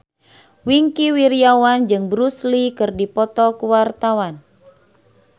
Wingky Wiryawan jeung Bruce Lee keur dipoto ku wartawan